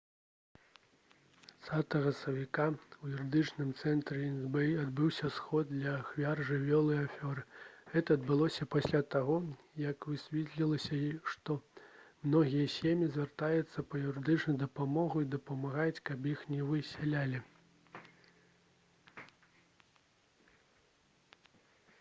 20 сакавіка ў юрыдычным цэнтры іст-бэй адбыўся сход для ахвяр жыллёвай афёры гэта адбылося пасля таго як высветлілася што многія сем'і звяртаюцца па юрыдычную дапамогу і дамагаюцца каб іх не высялялі